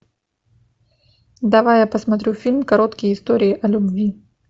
давай я посмотрю фильм короткие истории о любви